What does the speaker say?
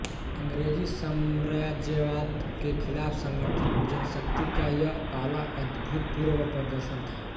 अंग्रेजी साम्राज्यवाद के खिलाफ संगठित जनशक्ति का यह पहला अभूतपूर्व प्रदर्शन था